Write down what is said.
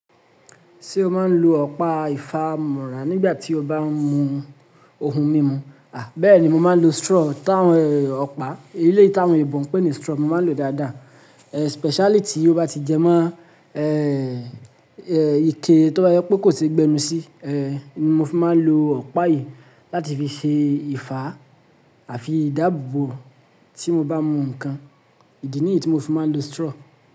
Ṣé o máa ń lo ọ̀pá ìfámúrà nígbà tí o bá ń mu ohun mímu? À bèéni, mo máa ń lo straw tán ọ̀pá. Èleyi ti awon oyinbo ń pe ni straw. Mo máa ń lo dáadáa. Especially tí ó bá ti jẹ mọ́, eh, eh, ike tó bá jẹ pé kò sí gbẹnu sí, eh, ni mo fi máa n lo ọ̀pá yìí láti fi fi faa àfi ìdáàbòbò tí mo bá mú nǹkan. Ìdí nìyí tí mo fi máa ń lo straw.